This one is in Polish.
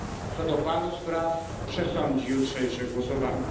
Co do paru spraw przesądzi jutrzejsze głosowanie.